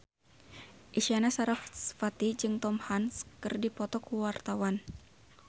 Isyana Sarasvati jeung Tom Hanks keur dipoto ku wartawan